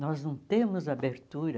Nós não temos abertura